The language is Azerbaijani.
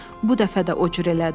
Bu dəfə də o cür elədi.